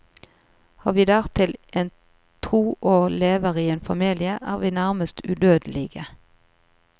Har vi dertil en tro og lever i en familie, er vi nærmest udødelige.